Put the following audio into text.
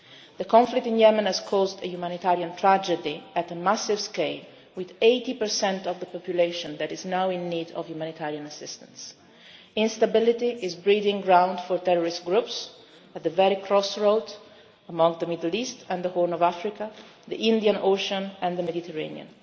headlines. The conflict in Yemen has caused a humanitarian tragedy at a massive scale, with 80 of the population that is now in need of humanitarian assistance. Instability is a breeding ground for terrorist groups at the very crossroad, among the Middle East and the Horn of Africa, the Indian Ocean and the Mediterranean.